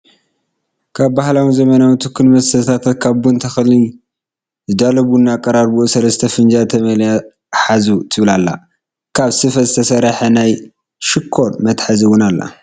ካብ ባህላውነ ዘመናው ትኩስ መስተታት ካብ ቡን ተክሊ ዝዳሎ ቡና ኣቀራርብኡ ሰለስተ ፍጃል ተመሊኣን ሓዙ ትብል ኣላ፣ ካብ ስፈ ዝተሰረሐት ናይ ሽኮር መትሓዚት እውን ኣላ።